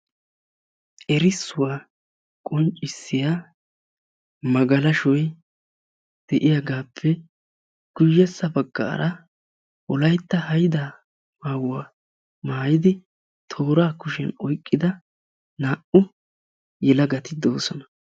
errissuwa qonccissiyaa magalashoy deiyagaappe guyessa bagaara wolaytta haydaa maayuwa maayidi eqqida naa'u asati de'oososna.